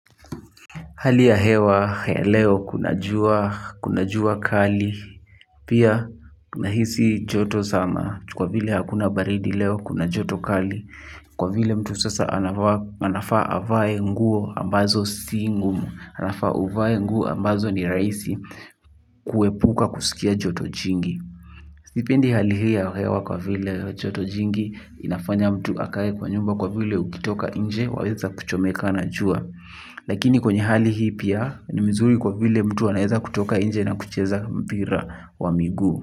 Hali ya hewa ya leo kuna jua kali, pia tuna hisi joto sana, kwa vile hakuna baridi leo kuna joto kali, kwa vile mtu sasa anafaa avae nguo ambazo si ngumu, anafaa uvae nguo ambazo ni rahisi kuepuka kusikia joto jingi. Sipendi hali hii ya hewa kwa vile joto jingi inafanya mtu akae kwa nyumba kwa vile ukitoka nje waweza kuchomeka na jua. Lakini kwenye hali hii pia ni mzuri kwa vile mtu anaeza kutoka nje na kucheza mpira wa miguu.